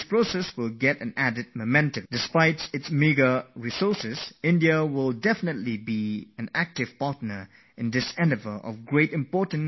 India, with its reputed resources, will surely be an active participant in this superior science discovery which is for the welfare of humankind